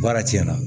Baara tiɲɛna